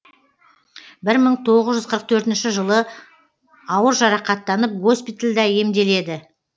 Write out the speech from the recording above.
бір мың тоғыз жүз қырық төртінші жылы ауыр жарақаттанып госпитальда емделеді